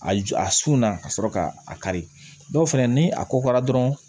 A ju a sun na ka sɔrɔ ka a kari dɔw fɛnɛ ni a ko ka dɔrɔn